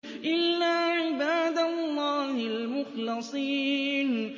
إِلَّا عِبَادَ اللَّهِ الْمُخْلَصِينَ